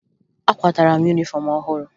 Akwatara m yunifọm ọhụrụ